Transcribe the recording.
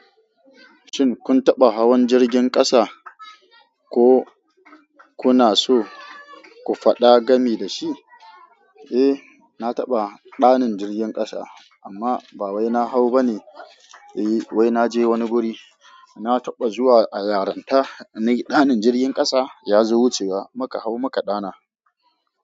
Shin kun taɓa hawan jirgin ƙasa ko kuna so ku faɗa gami da shi? Eh, na taɓa ɗanin jirgin ƙasa amma ba wai na hau ba ne. Eh wai na je wani guri. Na taɓa zuwa a yaranta, ni ɗanin jirgin ƙasa ya zo wucewa muka hau muka ɗana.